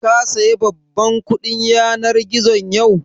Ka saya babban kuɗin yanar gizon yau?